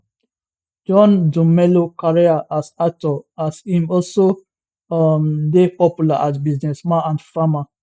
john dumelo career as actor as im also um dey popular as businessman and farmer